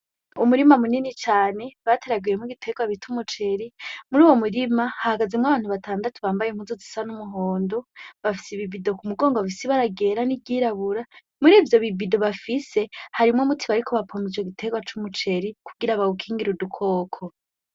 Umurima munini cane bateragiyemwo ibiterwa bita umuceri, muri uyo murima, hahagazemwo abantu batandatu bambaye impuzu zisa n'umuhondo, bafise ibi bido ku mugongo bifise ibara ryera n'iryirabura. Muri ivyo bi bido bafise harimwo umuti bariko ba pompa ico giterwa c'umuceri, kugira bawukingire udukoko.